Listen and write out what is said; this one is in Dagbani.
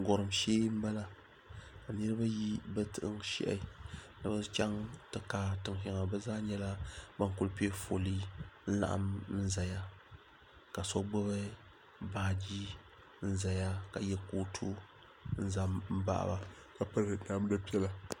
Gɔrim shee m bala. Ka niriba yi bɛ tin shehi ni bɛ chaŋ ti kaai tin sheŋa. By zaa nyala ban kuli pe foolii n laɣim zeya ka so gbubi baaji n zeya ka ye kootu n zan baɣ ba ka piri namda piela.